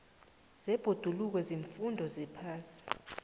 zebhoduluko ziimfundo zephasi